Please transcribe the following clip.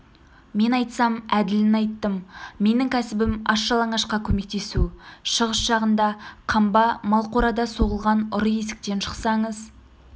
мен айтсам әділін айттым менің кәсібім аш-жалаңашқа көмектесу шығыс жағында қамба малқорада соғылған ұры есіктен шықсаңыз